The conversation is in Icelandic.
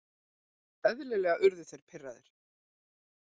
Eðlilega urðu þeir pirraðir.